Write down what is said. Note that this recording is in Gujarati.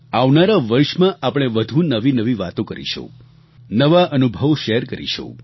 આવનારા વર્ષમાં આપણે વધુ નવીનવી વાતો કરીશું નવા અનુભવો શૅર કરીશું